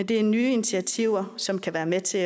det er nye initiativer som kan være med til